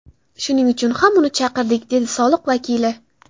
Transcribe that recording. Shuning uchun ham uni chaqirdik”, dedi soliq vakili.